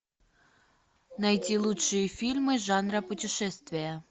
найти лучшие фильмы жанра путешествия